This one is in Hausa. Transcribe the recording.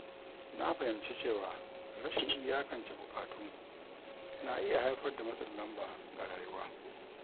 Na fahimci cewa rashin iyakance buƙatu na iya haifar da matsin lamba ga rayuwa.